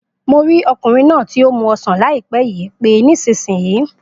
Mo rí ọkùnrin náà tí o mu ọsán láìpé yìí pé nísìsiyìí